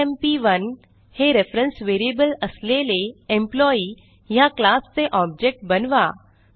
EMP1 e m P 1 हे reference variable असलेले employee ह्या क्लास चे ऑब्जेक्ट बनवा